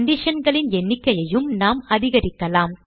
conditionகளின் எண்ணிக்கையையும் நாம் அதிகரிக்கலாம்